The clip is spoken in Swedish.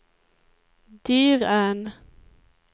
Dyrön